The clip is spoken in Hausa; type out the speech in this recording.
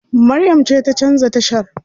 Maryam ce ta canza tashar.